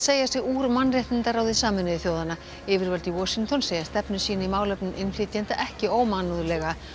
segja sig úr mannréttindaráði Sameinuðu þjóðanna yfirvöld í Washington segja stefnu sína í málefnum innflytjenda ekki ómannúðlega